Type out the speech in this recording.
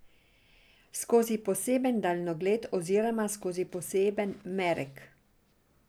Skozi poseben daljnogled oziroma skozi poseben merek.